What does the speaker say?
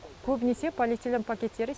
көбінесе полиэтилен пакеттері